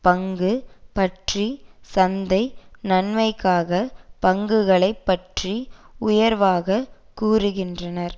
பங்கு பற்றி சந்தை நன்மைக்காக பங்குகளை பற்றி உயர்வாகக் கூறுகின்றனர்